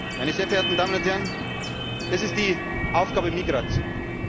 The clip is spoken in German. bekämpfen. Meine sehr verehrten Damen und Herren, das ist die Aufgabe